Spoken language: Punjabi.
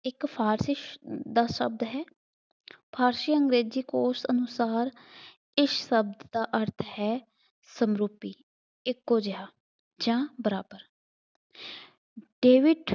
ਇੱਕ ਫਾਰਸੀ ਦਾ ਸ਼ਬਦ ਹੈ। ਫਾਰਸੀ ਅੰਗਰੇਜ਼ੀ ਕੋਰਸ ਅਨੁਸਾਰ ਇਸ ਸ਼ਬਦ ਦਾ ਅਰਥ ਹੈ ਸਮਰੂਪੀ, ਇੱਕੋ ਜਿਹਾ ਜਾਂ ਬਰਾਬਰ ਡੇਵਿਡ